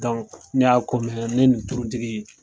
ne y'a ne ni tulutigi